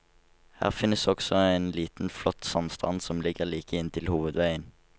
Her finnes også en liten flott sandstrand som ligger like inntil hovedveien.